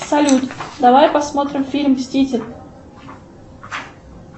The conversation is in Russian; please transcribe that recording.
салют давай посмотрим фильм мститель